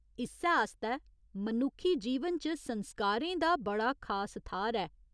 इस्सै आस्तै मनुक्खी जीवन च संस्कारें दा बड़ा खास थाह्‌र ऐ।